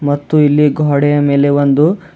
ಮತ್ತು ಇಲ್ಲಿ ಗೋಡೆಯ ಮೇಲೆ ಒಂದು--